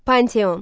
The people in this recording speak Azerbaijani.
Panteon.